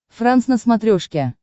франс на смотрешке